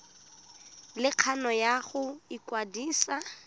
le kgano ya go ikwadisa